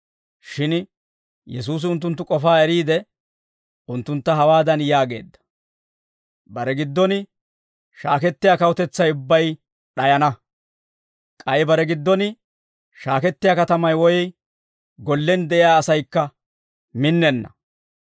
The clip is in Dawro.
Shin Yesuusi unttunttu k'ofaa eriide, unttuntta hawaadan yaageedda; «Bare giddon shaakettiyaa kawutetsay ubbay d'ayana; k'ay bare giddon shaakettiyaa katamay woy gollen de'iyaa asaykka minnenna.